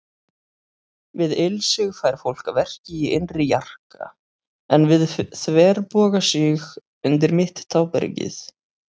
Við ilsig fær fólk verki í innri jarka, en við þverbogasig undir mitt tábergið.